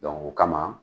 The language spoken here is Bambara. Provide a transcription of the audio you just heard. o kama